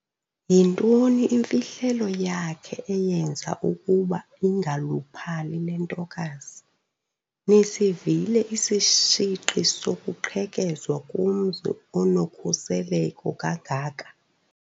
Yintoni imfihlelo yakhe eyenza ukuba ingaluphali le ntokazi. nisivile isishiqi sokuqhekezwa komzi onokhuseleko kangaka?